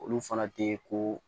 Olu fana tɛ ko